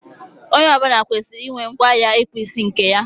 Onye ọ bụla kwesịrị inwe ngwa ịkpụ isi nke ya.